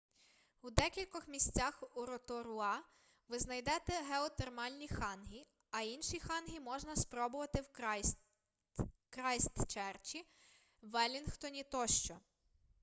у декількох місцях у роторуа ви знайдете геотермальні хангі а інші хангі можна спробувати в крайстчерчі веллінгтоні тощо